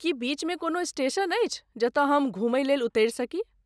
की बीचमे कोनो स्टेशन अछि जतय हम घुमयलेल उतरि सकी?